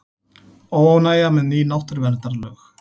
Óánægja með ný náttúruverndarlög